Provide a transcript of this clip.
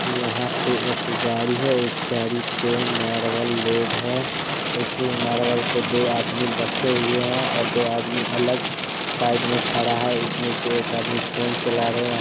यहां पे एक गाड़ी है उस गाड़ी पे मार्बल लोड है उस मार्बल पे दो आदमी हुए हैं और दो आदमी अलग साइड में ठड़ा है उसमें से एक आदमी फोन चला रहे हैं।